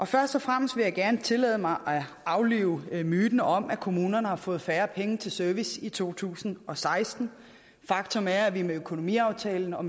først og fremmest vil jeg gerne tillade mig at aflive myten om at kommunerne har fået færre penge til service i to tusind og seksten faktum er at vi med økonomiaftalen og